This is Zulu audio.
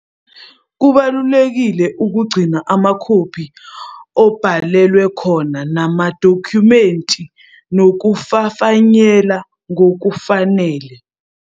Kubalulekile ukugcina amakhophi obhalelwe khona namadokhumenti nokufafayela ngokufanele.